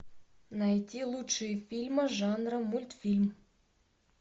найти лучшие фильмы жанра мультфильм